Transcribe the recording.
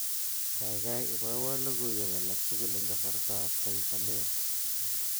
Kaikai ibowo logoiwek alatugul eng kasartaab Taifa Leo